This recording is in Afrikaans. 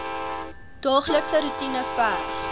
daaglikse roetine verg